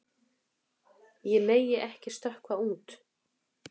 Ég megi ekki stökkva út.